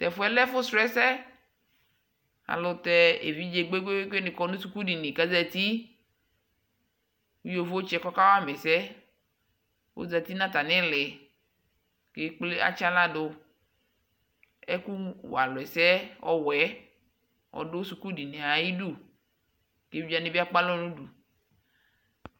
tɛƒʋɛ lɛ ɛƒʋ srɔ ɛsɛ ɛlʋtɛ ɛvidzɛ kpekpekpe ni kɔnʋ skʋl dini kʋazati kʋ yɔvɔtsɛ kawama ɛsɛ ɔzati nʋ atami ili kʋ ɛkplɛ atsiala dʋ ɛkʋ walʋ ɛsɛ ɔwɛ ɔdʋ skʋl diniɛ ayidʋ, ɛvidzɛ wani bi akpalɔ nʋdʋ